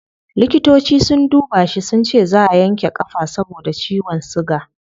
Likitoci sun duba shi sunce zaa a yanke kafa saboda ciwon suga